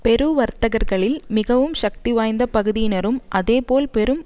பெரு வர்த்தகர்களில் மிகவும் சக்திவாய்ந்த பகுதியினரும் அதேபோல் பெரும்